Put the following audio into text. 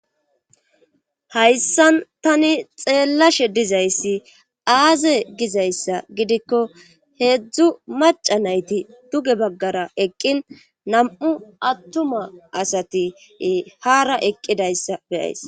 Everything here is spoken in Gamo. hayssan tani xeellashe dizayssi aaze gizayssa gidikko heedzdzu maca nayti duge baggara eqqin nam7u attuma asati haara eqqidayssa beyays